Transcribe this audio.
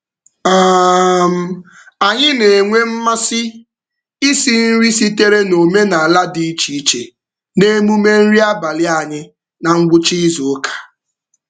um Anyị na-enwe mmasị isi nri sitere n'omenaala dị iche iche n'emume nri abalị anyị na ngwụcha izuụka.